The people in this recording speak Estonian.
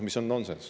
See on nonsenss.